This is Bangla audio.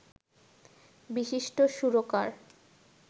বিশিষ্ট সুরকার